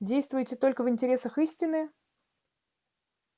действуете только в интересах истины